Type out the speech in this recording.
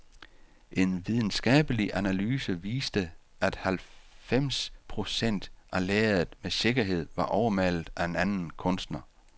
En videnskabelig analyse viste, at halvfems procent af lærredet med sikkerhed var overmalet af en anden kunstner.